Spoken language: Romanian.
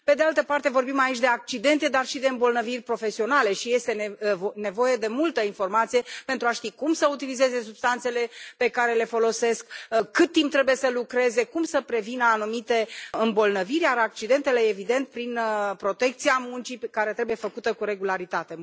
Pe de altă parte vorbim aici de accidente, dar și de îmbolnăviri profesionale și este nevoie de multă informație pentru a ști cum să utilizeze substanțele pe care le folosesc, cât timp trebuie să lucreze, cum să prevină anumite îmbolnăviri și accidentele, evident, prin protecția muncii, care trebuie făcută cu regularitate.